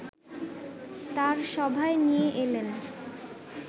তাঁর সভায় নিয়ে এলেন